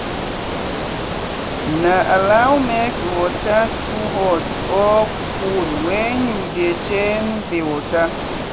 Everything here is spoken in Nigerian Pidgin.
no allow make water too hot or coldwhen you dey change the water.